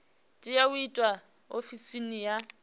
tea u itwa ofisini ya